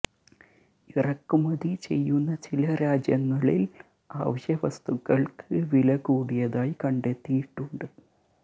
ഇറക്കു മതി ചെയ്യുന്ന ചില രാജ്യങ്ങളില് അവശ്യ വസ്തുക്കള്ക്ക് വില കൂടിയതായി കണ്ടെത്തിയിട്ടുണ്ട്